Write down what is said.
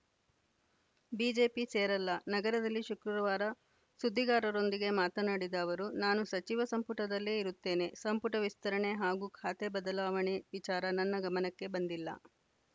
BJP ಸೇರಲ್ಲ ನಗರದಲ್ಲಿ ಶುಕ್ರವಾರ ಸುದ್ದಿಗಾರರೊಂದಿಗೆ ಮಾತನಾಡಿದ ಅವರು ನಾನು ಸಚಿವ ಸಂಪುಟದಲ್ಲೇ ಇರುತ್ತೇನೆ ಸಂಪುಟ ವಿಸ್ತರಣೆ ಹಾಗೂ ಖಾತೆ ಬದಲಾವಣೆ ವಿಚಾರ ನನ್ನ ಗಮನಕ್ಕೆ ಬಂದಿಲ್ಲ